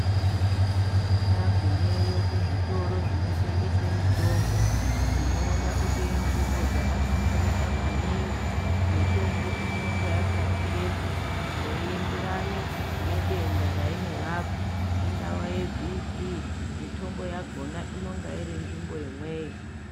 Tagumeyo kuzvitoro zvinotengesa mitombo tinoona kuti inzvimbo yakahlamburuka maningi mitombo inonga yakarongedzwa zveienderana ngedenda yainorapa rainorapa ungava yeBP mitombo yakhona inonga irinzvimbo imweyo.